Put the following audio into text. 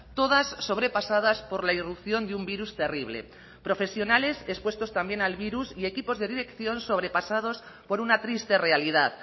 todas sobrepasadas por la irrupción de un virus terrible profesionales expuestos también al virus y equipos de dirección sobrepasados por una triste realidad